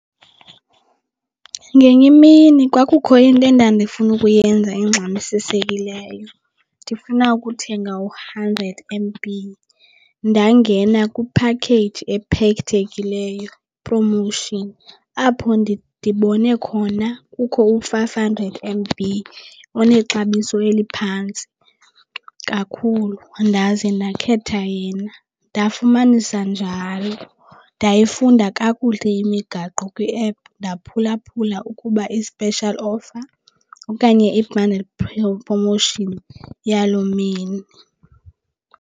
Ngenye imini kwakukho into endandifuna ukuyenza engxamisisekileyo ndifuna ukuthenga u-hundred M_B. Ndangena kwiphakheyiji ephethekileyo promotion apho ndibone khona kukho u-five hundred M_B onexabiso eliphantsi kakhulu ndaze ndakhetha yena ndafumanisa njalo. Ndayifunda kakuhle imigaqo kwiephu ndaphulaphula ukuba i-special offer okanye i-bundle promotion yaloo mini.